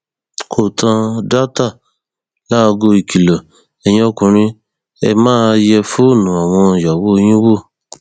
pọtádatà láago ìkìlọ ẹyin ọkùnrin ẹ máa yẹ fóònù àwọn ìyàwó yín wò ó